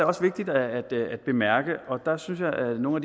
også vigtigt at bemærke og der synes jeg at nogle